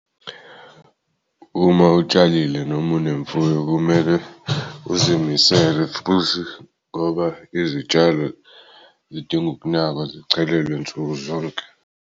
Uma utshalile noma unemfuyo kumele uzimisele futhi ngoba izitshalo zidinga ukunakwa zichelelwe nsuku zonke.